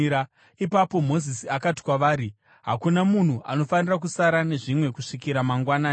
Ipapo Mozisi akati kwavari, “Hakuna munhu anofanira kusara nezvimwe kusvikira mangwanani.”